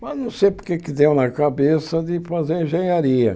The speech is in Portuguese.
Mas não sei porque deu na cabeça de fazer engenharia.